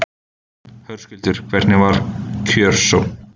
Höskuldur, hvernig var kjörsókn?